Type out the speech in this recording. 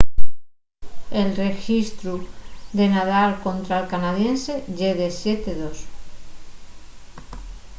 el rexistru de nadal contra’l canadiense ye de 7-2